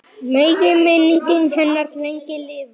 Megi minning hennar lengi lifa.